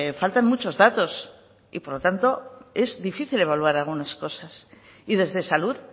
faltan muchos datos y por lo tanto es difícil de evaluar algunas cosas y desde salud